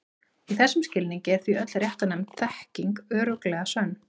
Í þessum skilningi er því öll réttnefnd þekking örugglega sönn.